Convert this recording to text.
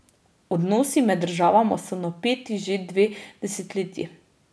Odnosi med državama so napeti že dve desetletji.